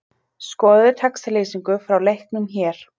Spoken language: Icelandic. Skoðaðu textalýsingu frá leiknum hér